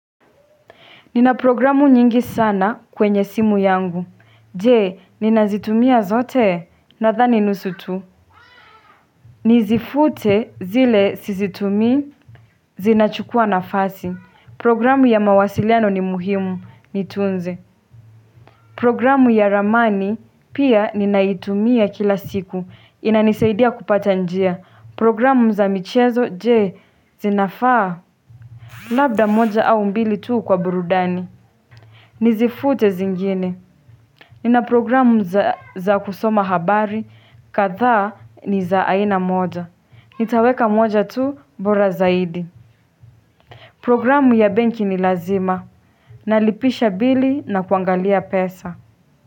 Nina programu nyingi sana kwenye simu yangu. Je, ninazitumia zote nathani nusu tu. Nizifute zile sizitumii zinachukua na fasi. Programu ya mawasiliano ni muhimu, nitunze. Programu ya ramani pia ninaitumia kila siku. Inanisaidia kupata njia. Programu za michezo, je, zinafaa. Labda moja au mbili tu kwa burudani. Nizifute zingine. Nina programu za kusoma habari, kadhaa ni za aina moja. Nitaweka moja tu bora zaidi. Programu ya benki ni lazima. Nalipisha bili na kuangalia pesa.